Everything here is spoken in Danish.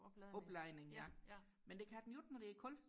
opladning ja men det kan den jo ikke når det er koldt